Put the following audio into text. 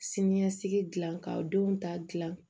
Sini ɲɛsigi gilan ka denw ta gilan